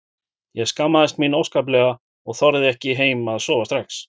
Ég skammaðist mín óskaplega og þorði ekki heim að sofa strax.